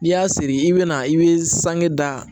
N'i y'a siri i bɛ na i bɛ sange da